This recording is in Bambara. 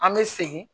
An bɛ segin